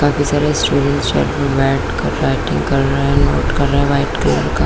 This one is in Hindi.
बाकी सारे स्टूडेंट्स यहाँ पर बैठकर राइटिंग कर रहै है नोट कर रहै है व्हाइट कलर का--